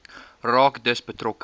raak dus betrokke